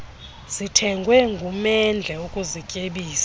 zithengwe ngumendle ukuzityebisa